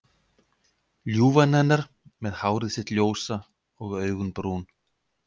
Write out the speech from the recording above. Ljúfan hennar með hárið sitt ljósa og augun brún.